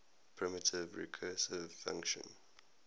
primitive recursive function